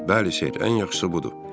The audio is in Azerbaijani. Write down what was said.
Bəli, Siet, ən yaxşısı budur.